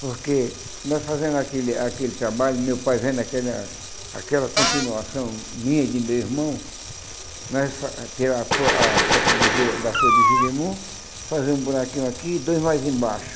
Porque nós fazendo aquele aquele trabalho, meu pai vendo aquela aquela continuação minha e de meu irmão, nós ter a a copa do je da folha do jerimum, fazer um buraquinho aqui e dois mais embaixo.